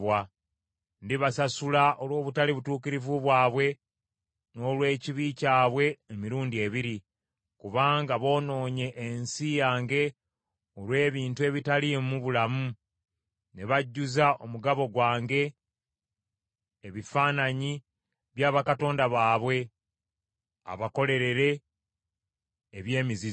Ndibasasula olw’obutali butuukirivu bwabwe n’olw’ekibi kyabwe emirundi ebiri, kubanga boonoonye ensi yange olw’ebintu ebitaliimu bulamu ne bajjuza omugabo gwange ebifaananyi bya bakatonda baabwe abakolerere, eby’emizizo.”